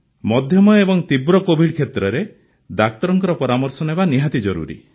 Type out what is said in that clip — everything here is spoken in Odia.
ମଧ୍ୟମ ଏବଂ ତୀବ୍ର କୋଭିଡ୍ କ୍ଷେତ୍ରରେ ଡାକ୍ତରଙ୍କ ପରାମର୍ଶ ନେବା ନିହାତି ଜରୁରୀ